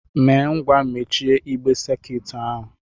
Mee ngwa mechie igbe sakiut ahụ!